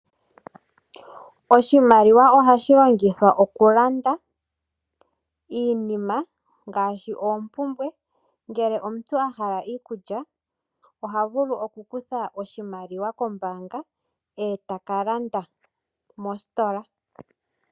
Oshimaliwa ohashi longithwa okulanda iinima, ngaashi oompumbwe, ngele omuntu ahala iikulya oha vulu oku kutha iimaliwa kombaanga etaka landa mositola.